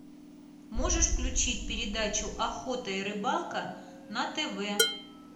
можешь включить передачу охота и рыбалка на тв